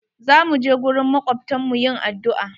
Za mu je gurin makwabtan mu yin addu'a.